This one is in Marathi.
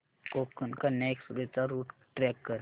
कोकण कन्या एक्सप्रेस चा रूट ट्रॅक कर